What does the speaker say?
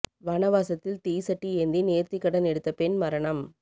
வனவாசத்தில் தீ சட்டி ஏந்தி நேர்த்தி கடன் எடுத்த பெண் மரணம்